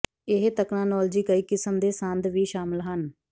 ਇਹ ਤਕਨਾਲੋਜੀ ਕਈ ਕਿਸਮ ਦੇ ਸੰਦ ਵੀ ਸ਼ਾਮਿਲ ਹਨ